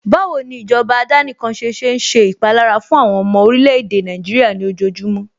Báwo ni ìjọba àdánìkanṣe ṣe ń ṣe ìpalára fún àwọn ọmọ orílè-èdè Nàìjíríà ní ojojúmọ́